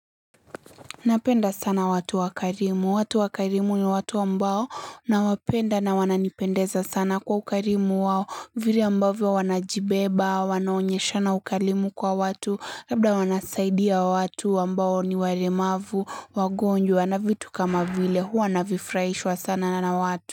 Napenda sana watu wakarimu. Watu wakarimu ni watu ambao nawapenda na wananipendeza sana kwa ukarimu wao. Vire ambavyo wanajibeba, wanaonyeshana ukalimu kwa watu, labda wanasaidia watu ambao ni walemavu, wagonjwa na vitu kama vile huwa navifurahishwa sana na watu.